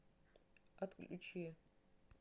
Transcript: отключи